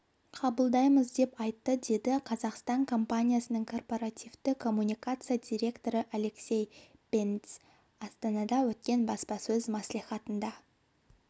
қабылдаймыз деп айтты деді қазақстан компаниясның корпоративті коммуникация директоры алексей бендзь астанада өткен баспасөз мәслихатында